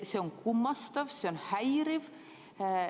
See on kummastav, see on häiriv.